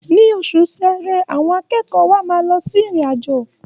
Ní oṣù Ṣẹẹrẹ, àwọn akẹ́kọ̀ọ́ wa máa lọ sí ìrìn-àjò.